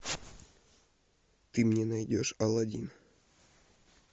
ты мне найдешь алладин